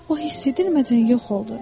O hiss edilmədən yox oldu.